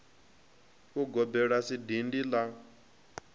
ugobela a si dindi la